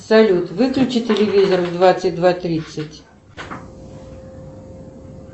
салют выключи телевизор в двадцать два тридцать